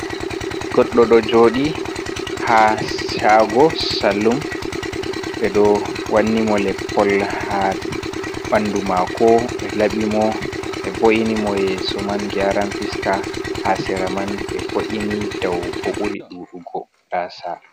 Goɗɗo ɗo joɗi ha shago salun, ɓe ɗo wanni mo leppol ha ɓandu mako, ɓe labi mo ɓe vo’ini mo yeso man, gyaran fiska ha sera man ɓe vo’ini dau bo ɓuri ɗuɗugo gasa.